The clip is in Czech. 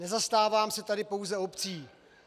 Nezastávám se tady pouze obcí.